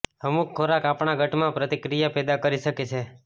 અમુક ખોરાક આપણા ગટમાં પ્રતિક્રિયા પેદા કરી શકે છે